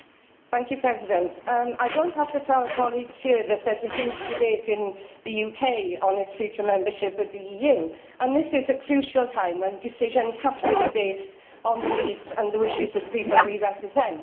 Mr President, I do not have to tell colleagues here that there is a huge debate in the UK on its future membership of the EU and this is a crucial time, when decisions have to be based on the needs and wishes of the people we represent.